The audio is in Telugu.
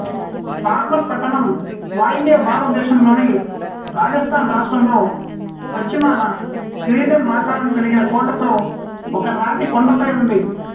బార్మర్ పట్టణం వాయవ్య భారతదేశంలోని రాజస్థాన్ రాష్ట్రంలో పశ్చిమాన కిరీటం ఆకారం కలిగిన కోటతో ఒక రాతి కొండపై ఉంది